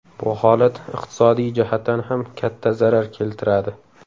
Bu holat iqtisodiy jihatdan ham katta zarar keltiradi.